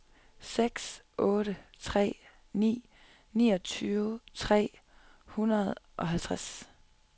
seks otte tre ni niogtyve tre hundrede og halvtreds